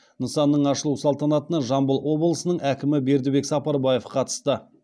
нысанның ашылу салтанатына жамбыл облысының әкімі бердібек сапарбаев қатысты